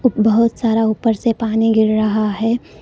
बहुत सारा ऊपर से पानी गिर रहा है।